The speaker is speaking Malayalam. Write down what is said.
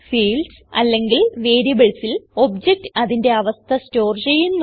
ഫീൽഡ്സ് അല്ലെങ്കിൽ variablesൽ ഒബ്ജക്ട് അതിന്റെ അവസ്ഥ സ്റ്റോർ ചെയ്യുന്നു